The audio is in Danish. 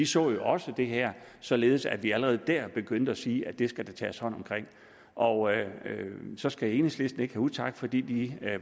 så jo også det her således at vi allerede der begyndte at sige at det skulle der tages hånd om og så skal enhedslisten ikke have utak fordi de